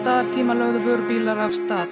lögðu vörubílar af stað